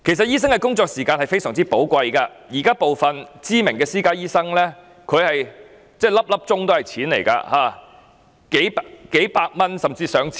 醫生的工作時間非常寶貴，對於部分知名的私家醫生而言，每小時可謂皆是錢，因為可以賺取數百元甚至數千元。